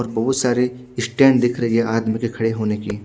और बोहोत सारे स्टैंड दिख रही है आज मुझे खड़े होने की--